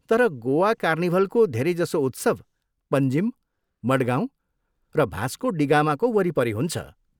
तर गोवा कार्निभलको धेरैजसो उत्सव पन्जिम, मडगाउँ र भास्को डी गामाको वरिपरि हुन्छ।